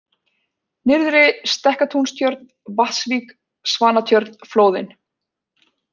Nyrðri-Stekkatúnstjörn, Vatnsvík, Svanatjörn, Flóðin